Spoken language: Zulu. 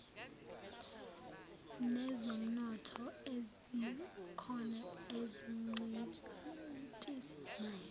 nezomnotho ezikhona ezincintisanayo